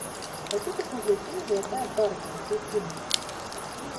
хочу посмотреть фильм золотая парочка включи мне